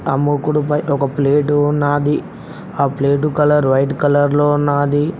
అముకుడు పై ఒక ప్లేటు ఉన్నాది ఆ ప్లేటు కలర్ వైట్ కలర్ లో ఉన్నాది.